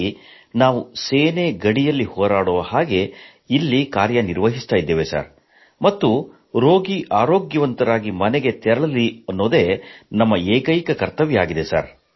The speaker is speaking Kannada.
ಹಾಗಾಗಿ ನಾವು ಸೇನೆ ಗಡಿಯಲ್ಲಿ ಹೋರಾಡುವಂತೆ ಇಲ್ಲಿ ಕಾರ್ಯನಿರ್ವಹಿಸುತ್ತೀದ್ದೇವೆ ಮತ್ತು ರೋಗಿ ಆರೋಗ್ಯವಂತರಾಗಿ ಮನೆಗೆ ತೆರಳಲಿ ಎಂಬುದೊಂದೇ ನಮ್ಮ ಏಕೈಕ ಕರ್ತವ್ಯವಾಗಿದೆ